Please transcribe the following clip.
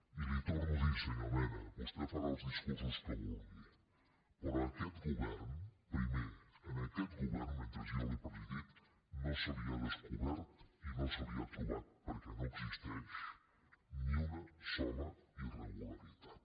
i li ho torno a dir senyor mena vostè farà els discur·sos que vulgui però primer a aquest govern mentre jo l’he presidit no se li ha descobert i no se li ha tro·bat perquè no existeix ni una sola irregularitat